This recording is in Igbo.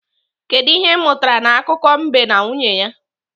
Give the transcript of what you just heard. Kedụ ihe ị mụtara n'akụkọ mbe na nwunye ya?